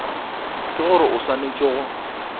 ke gore o swanetše go